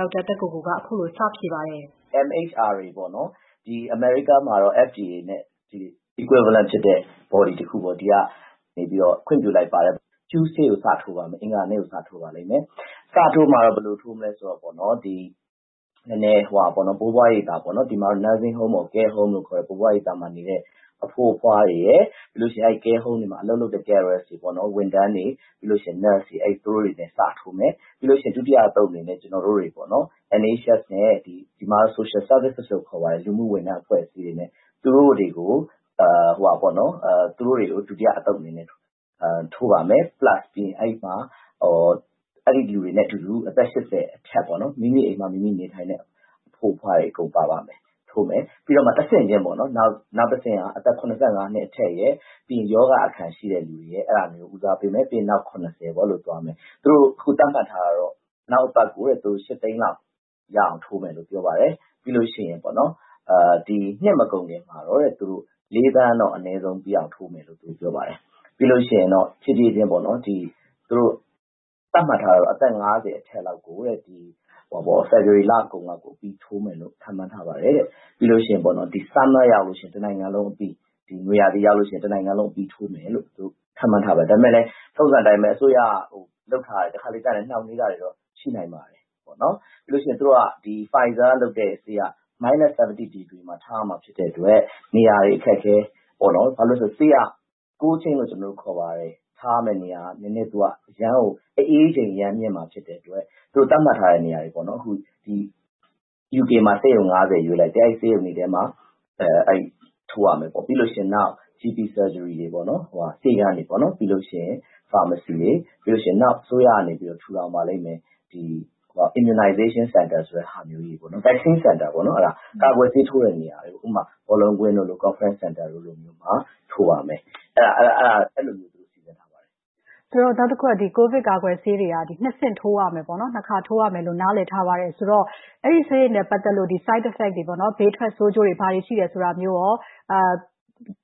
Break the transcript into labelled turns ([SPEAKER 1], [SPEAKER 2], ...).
[SPEAKER 1] ေါက်တာ သက်ကိုကို။ ။ MHRA ပေါ့နော်... အမေရိကမှာတော့ FDA နဲ့ equivalent ဖြစ်တဲ့ body တခုပေါ့ ဒီကနေပြီးတော့ ခွင့်ပြုလိုက်ပါတယ်။ အဂါၤနေ့ကို စထိုးပါလိမ့်မယ်။ စထိုးမှာတော့ ဘယ်လိုထိုးမလဲဆိုတော့နော်... ဘိုးဘွားရိပ်သာပေါ့နော် ဒီမှာတော့ nursing home ၊ care home လို့ ခေါ်တယ်။ ဘိုးဘွားရိပ်သာမှာနေတဲ့ အဘိုး၊ အဘွားတွေရယ်၊ ပြီးလို့ရှိရင် အဲ့ဒီ care home တွေမှာ အလုပ်လုပ်တဲ့ carer တွေ၊ ဝန်ထမ်းတွေ၊ nurse တွေ... သူတို့တွေနဲ့ စထိုးမယ်။ ပြီးလို့ရှိရင် ဒုတိယအသုတ်အနေနဲ့ ကျနော်တို့တွေပေါ့နော်... NHS နဲ့ ဒီမှာတော့ social service လို့ခေါ်ပါတယ်။ လူမှုဝန်ထမ်းအဖွဲ့အစည်းတွေနဲ့ သူတို့တွေကို ဒုတိယအသုတ်အနေနဲ့ ထိုးပါမယ်။ ပြီးရင် အဲဒီလူတွေနဲ့အတူတူ အသက် ၈၀ နဲ့ အထက်ပေါ့နော်... မိမိအိမ်မှာ မိမိ နေထိုင်တဲ့ အဘိုး၊ အဘွားတွေ အကုန်ပါပါ့မယ်။ ထိုးမယ်။ ပြီးလို့ရှိရင် တဆင့်ချင်းပေါ့နော်... နောက်တဆင့်က အသက် ၇၅ နဲ့ အထက်ရယ်၊ ရောဂါအခံရှိတဲ့သူတွေကို ဦးစားပေးမယ်။ ပြီးရင် နောက် ၇၀ ပေါ့ အဲ့ဒီလိုသွားမယ်။ သူတို့ သတ်မှတ်ထားတာတော့ နောက်အပတ်ကို လူ ၈၀၀,၀၀၀ လောက် ရအောင်ထိုးမယ်လို့ ပြောပါတယ်။ ပြီးလို့ရှိရင် ဒီ နှစ်မကုန်ခင်မှာတော့ ၄,၀၀၀,၀၀၀ တော့ အနည်းဆုံး ပြီးအောင်ထိုးမယ်လို့ သူတို့ ပြောပါတယ်။ ပြီးလို့ရှိရင်တော့ ဖြည်းဖြည်းချင်းပေါ့နော်... သတ်မှတ်ထားတာတော့ အသက် ၅၀ အထက်လောက် ကို ဖေဖော်ဝါရီလကုန်လောက်ကို အပြီးထိုးမယ်လို့ ခန့်မှန်းထားပါတယ်တဲ့။ ပြီးလို့ရှိရင် ဒီ summer... နွေရာသီရောက်လို့ရှိရင် တနိုင်ငံလုံးအပြီး ထိုးမယ်လို့ ခန့်မှန်းထားပါတယ်။ ဒါပေမဲ့လည်း ထုံးစံအတိုင်းပဲ အစိုးရက လုပ်ထားပေမယ့် တခါတလေကျတော့ နှောင့်နှေးတာတွေလည်း ရှိနိုင်ပါတယ်နော်။ ပြီးလို့ရှိရင် Pfizer က လုပ်တဲ့ဆေးက အနုတ် ၇၀ ဒီဂရီမှာ ထားရမှာ ဖြစ်တဲ့အတွက် နေရာတွေအခက်အခဲပေါ့နော်။ ဘာလို့လည်းဆိုတော့ ဆေးက cold chain လို့ ကျနော်တို့ ခေါ်ပါတယ်။ ထားရမယ့်နေရာက နည်းနည်း အရမ်းကို အအေးချိန်အရမ်းမြင့်မှာဖြစ်တဲ့အတွက် သူတို့ သတ်မှတ်ထားတဲ့ နေရာတွေပေါ့နော်။ အခု UK မှာ ဆေးရုံ ၅၀ ရွေးလိုက်တယ်။ အဲဒီ ဆေးရုံတွေထဲမှာ ထိုးရမယ်ပေါ့။ ပြီးလို့ ရှိရင် နောက် GP surgery တွေပေါ့နော်၊ ဆေးခန်းတွေ၊ ပြီးလို့ရှိရင် pharmacy တွေ၊ ပြီးရင် နောက်အစိုးရကနေပြီးတော့ ထူထောင်ပါလိမ့်မယ်။ immunization စင်တာတွေပေါ့နော်... vaccine စင်တာပေါ့နော် အဲ့ဒါ ကာကွယ်ဆေးထိုးတဲ့နေရာတွေ။ ဥပမာ ဘောလုံးကွင်းတို့လို၊ conference စင်တာတွေလိုမျိုးမှာ ထိုးပါမယ်။ အဲ့လိုမျိုးပေါ့။ မစုမြတ်မွန်။ ။ ကိုဗစ်ကာကွယ်ဆေးတွေက နှစ်ဆင့် ထိုးရမယ်ပေါ့နော်။ နှစ်ခါ ထိုးရမယ်လို့ နားလည်ထားပါတယ်။ ဆိုတော့ အဲ့ဒီဆေးတွေနဲ့ ပတ်သက်လို့ side effect တွေပေါ့နော်၊ ဘေးထွက်ဆိုးကျိုးတွေ ဘာတွေ ရှိတယ်ဆိုတာမျိုးရော